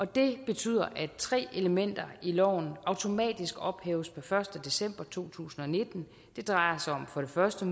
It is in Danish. det betyder at tre elementer i loven automatisk ophæves per første december to tusind og nitten det drejer sig for det første